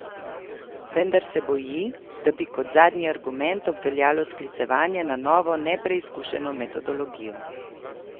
Vendar se boji, da bi kot zadnji argument obveljalo sklicevanje na novo nepreizkušeno metodologijo.